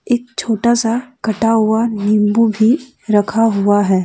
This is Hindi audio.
एक छोटा सा कटा हुआ नींबू भी रखा हुआ है।